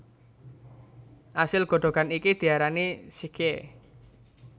Asil godhogan iki diarani sikhye